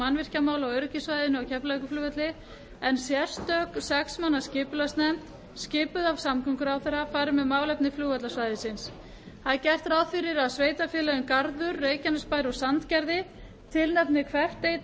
mannvirkjamála á öryggissvæðinu á keflavíkurflugvelli en sérstök sex manna skipulagsnefnd skipuð af samgönguráðherra fari með málefni flugvallarsvæðisins gert er ráð fyrir að sveitarfélögin garður reykjanesbær og sandgerði tilnefni hvert einn fulltrúa